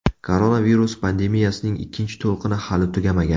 Koronavirus pandemiyasining ikkinchi to‘lqini hali tugamagan.